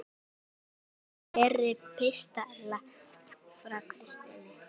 Viltu fleiri pistla frá Kristni?